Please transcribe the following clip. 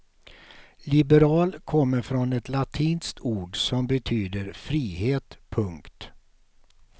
Liberal kommer från ett latinskt ord som betyder frihet. punkt